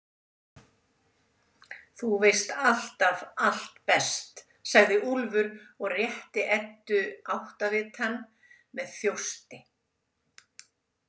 Þú veist alltaf allt best, sagði Úlfur og rétti Eddu áttavitann með þjósti.